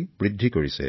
চিলাই কৰিবলৈ শিকিছে